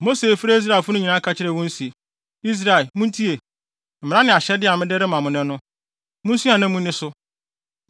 Mose frɛɛ Israelfo no nyinaa ka kyerɛɛ wɔn se: Israel, muntie, mmara ne ahyɛde a mede rema mo nnɛ no. Munsua na munni so.